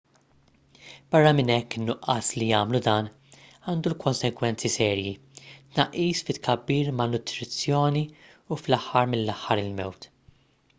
barra minn hekk in-nuqqas li jagħmlu dan għandu konsegwenzi serji tnaqqis fit-tkabbir malnutrizzjoni u fl-aħħar mill-aħħar il-mewt